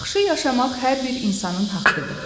Yaxşı yaşamaq hər bir insanın haqqıdır.